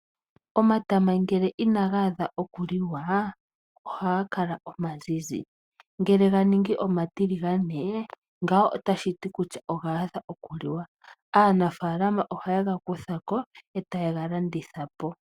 Omatama ngele inaga adha okuliwa ohaga kala omazizi, ngele ga ningi omatiligane ngawo otashi ti kutya oga adha okuliwa. Aanafaalama ohaye ga kutha ko e taye ga landitha po.